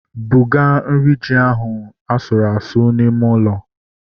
Buga nri ji ahu asụrụ asụ n'ime ụlọ